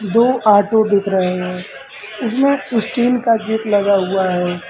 दो ऑटो दिख रहे हैं उसमें स्टील का गेट लगा हुआ है।